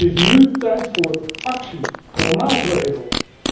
Het is nu tijd voor actie, voor maatregelen.